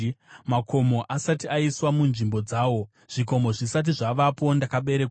makomo asati aiswa munzvimbo dzawo, zvikomo zvisati zvavapo, ndakaberekwa,